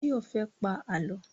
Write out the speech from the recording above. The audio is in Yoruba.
Báyọ̀ fẹ́ pá Àlọ́.